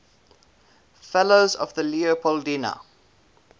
fellows of the leopoldina